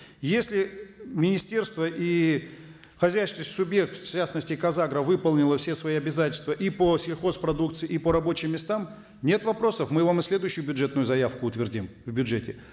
если министерства и хозяйственные субъекты в частности казагро выполнило все свои обязательства и по сельхозпродукции и по рабочим местам нет вопросов мы вам и следующую бюджетную заявку утвердим в бюджете